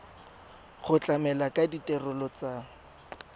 go tlamela ka ditirelo tsa